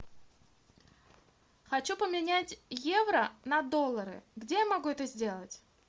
хочу поменять евро на доллары где я могу это сделать